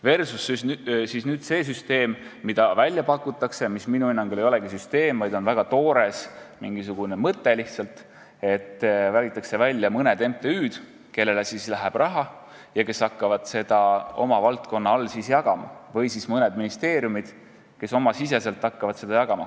Versus siis nüüd see süsteem, mida välja pakutakse ja mis minu hinnangul ei olegi süsteem, vaid on lihtsalt mingisugune väga toores mõte, et valitakse välja mõned MTÜ-d, kelle käsutusse läheb raha ja kes hakkavad seda oma valdkonnas jagama, või siis mõned ministeeriumid, kes oma valdkonnas hakkavad seda jagama.